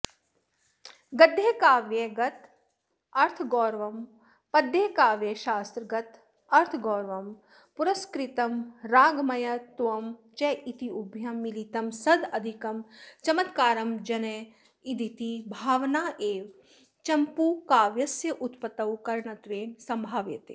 गद्यकाव्यगतमर्थगौरवं पद्यकाव्यशास्त्रगतमर्थगौरव पुरस्कृतं रागमयत्वं चेत्युभयं मिलितं सदधिकं चमत्कारं जनयेदिति भावनैव चम्पूकाव्यस्योत्पत्तौ करणत्वेन सम्भाव्यते